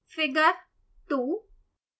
figure2